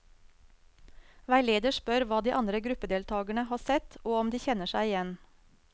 Veileder spør hva de andre gruppedeltakerne har sett, og om de kjenner seg igjen.